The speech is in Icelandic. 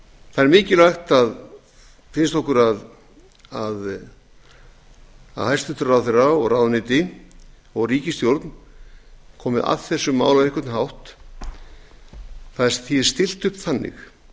það er mikilvægt finnst okkur að hæstvirtur ráðherra ráðuneyti og ríkisstjórn komi að þessu máli á einhvern hátt því er stillt upp þannig